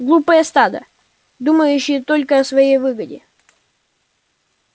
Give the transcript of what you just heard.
глупое стадо думающее только о своей выгоде